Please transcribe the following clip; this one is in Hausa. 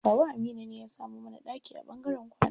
Kawu Aminu ne ya samo mana ɗaki a ɓangaren kwana.